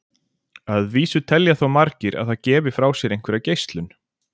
að vísu telja þó margir að það gefi frá sér einhverja geislun